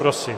Prosím.